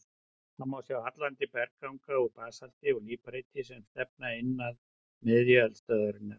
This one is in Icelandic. Þar má sjá hallandi bergganga úr basalti og líparíti sem stefna inn að miðju eldstöðvarinnar.